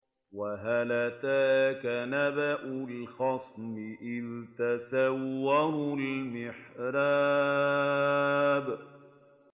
۞ وَهَلْ أَتَاكَ نَبَأُ الْخَصْمِ إِذْ تَسَوَّرُوا الْمِحْرَابَ